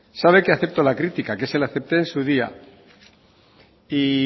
sabe que acepto la crítica que se la acepté en su día y